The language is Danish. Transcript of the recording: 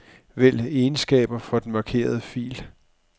Vælg egenskaber for den markerede fil.